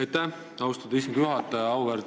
Aitäh, austatud istungi juhataja!